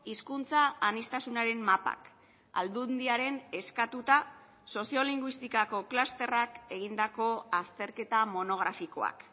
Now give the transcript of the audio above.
hizkuntza aniztasunaren mapak aldundiaren eskatuta soziolinguistikako klusterrak egindako azterketa monografikoak